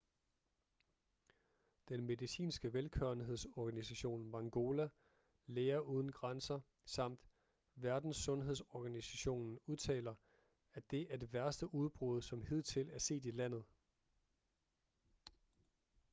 den medicinske velgørenhedsorganisation mangola læger uden grænser samt verdenssundhedsorganisationen udtaler at det er det værste udbrud som hidtil er set i landet